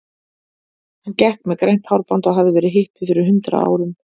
Hann gekk með grænt hárband og hafði verið hippi fyrir hundrað árum.